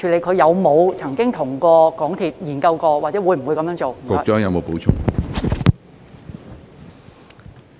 他有沒有跟港鐵公司研究過，以及會否這樣做？